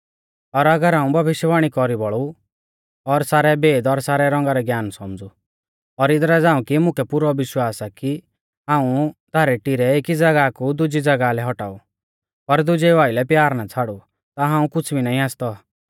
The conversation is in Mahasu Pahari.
और अगर हाऊं भविष्यवाणी कौरी बोलु और सारै भेद और सारै रौंगा रै ज्ञान सौमझ़ु और इदरा झ़ांऊ कि मुकै पुरौ विश्वास आ कि हाऊं धारै टिरै एकी ज़ागाह कु दुजी ज़ागाह लै हटाऊ पर दुजेऊ आइलै प्यार ना छ़ाड़ू ता हाऊं कुछ़ भी नाईं आसतौ